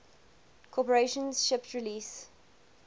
corporation shipped release